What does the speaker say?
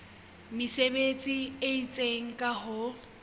mesebetsi e itseng ka ho